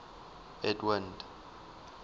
edwind